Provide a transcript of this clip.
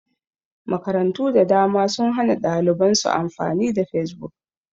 Makarantu da dama sun hana ɗaliban su amfani da fesbuk